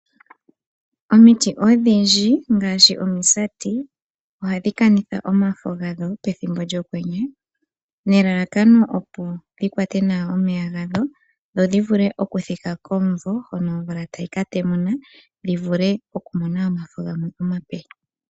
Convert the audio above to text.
Omiti odhindji ngaashi omisati ohadhi kanitha omafo gadho pethimbo lyokwenye nelalakano opo dhi kwate nawa omeya gadho, dhi vule okuthika komumvo hoka omvula tayi ka temuna dho dhi mone omafo gamwe omape.